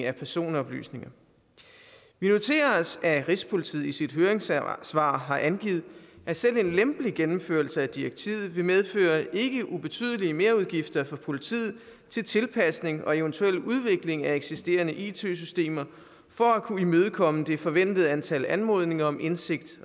af personoplysninger vi noterer os at rigspolitiet i sit høringssvar har angivet at selv en lempelig gennemførelse af direktivet vil medføre ikke ubetydelige merudgifter for politiet til tilpasning og eventuel udvikling af eksisterende it systemer for at kunne imødekomme det forventede antal anmodninger om indsigt